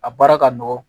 A baara ka nɔgɔn